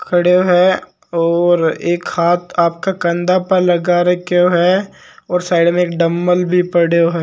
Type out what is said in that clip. खड़ो है और एक हाथ आपक कंध पर लटका रखो है और साइड मे एक डम्बल भी पड़ो है।